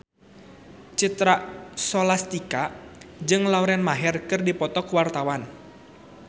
Citra Scholastika jeung Lauren Maher keur dipoto ku wartawan